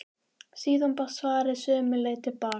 Síðan barst svarið sömu leið til baka.